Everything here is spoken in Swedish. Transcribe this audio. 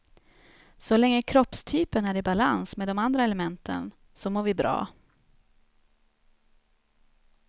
Så länge kroppstypen är i balans med de andra elementen så mår vi bra.